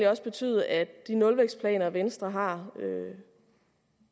også betyde at de nulvækstplaner venstre har